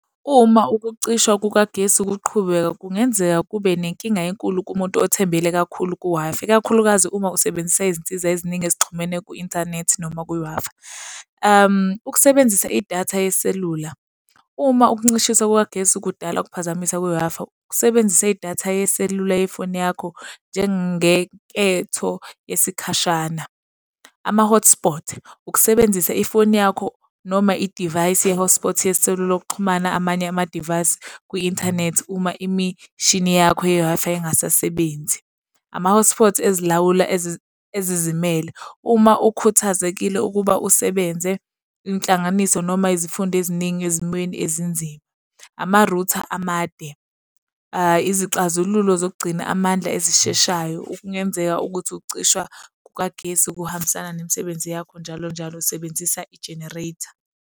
Uma ukucishwa kukagesi kuqhubeka kungenzeka kube nenkinga enkulu kumuntu othembele kakhulu ku-Wi-Fi, ikakhulukazi uma usebenzisa izinsiza eziningi ezixhumene ku-inthanethi noma kwi-Wi-Fi. Ukusebenzisa idatha yeselula. Uma ukuncishiswa kukagesi kudala ukuphazamisa kwe-Wi-Fi, ukusebenzisa idatha yeselula yefoni yakho njengenketho yesikhashana. Ama-hotspot. Ukusebenzisa ifoni yakho noma idivayisi ye-hotspot yeselula ukuxhumana amanye amadivayisi kwi-inthanethi uma imishini yakho ye-Wi-Fi engasasebenzi. Ama-hotspot ezilawula ezizimele. Uma ukhuthazekile ukuba usebenze inhlanganiso, noma izifundo eziningi ezimweni ezinzima. Ama-router amade. Izixazululo zokugcina amandla ezisheshayo okungenzeka ukuthi ukucishwa kukagesi kuhambisana nemisebenzi yakho njalo njalo, sebenzisa i-generator.